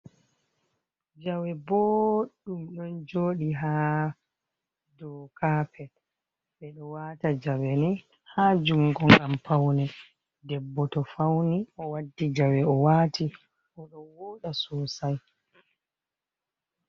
Jawe boɗɗum ɗon joɗi ha dou kapet ɓeɗo wata jawe ni ha jungo ngam paune debbo to fauni o waddi jawe o wati o ɗon woda sosai.